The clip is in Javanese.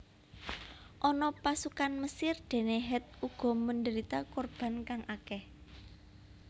Ana pasukan Mesir dene Het uga menderita korban kang akeh